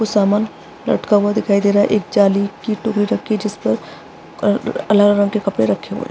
कुछ सामान लटका हुआ दिखाई दे रहा है एक जाली की टोंकरी रखी है जिस पर अलग - अलग रंग के कपडे रखे हुए है।